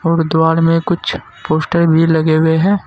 और दीवार में कुछ पोस्टर भी लगे हुए है।